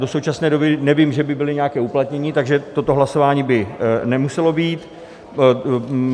Do současné doby nevím, že by byly nějaké uplatněny, takže toto hlasování by nemuselo být.